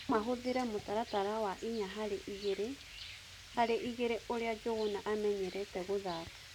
Nomahũthĩre mutaratara wa inya harĩ igĩrĩ harĩ igĩri urĩa Njunguna amĩnyĩrĩtĩ gũthaka